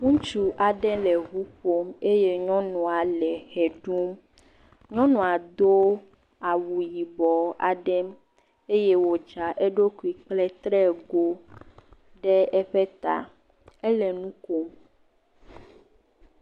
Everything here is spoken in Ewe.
Ŋutsu aɖe le ŋu ƒom eye nyɔnua le ʋe ɖum. Nyɔnua do awu yibɔ aɖe eye wodra eɖokui kple trego ɖe eƒe ta. Ele nu kom.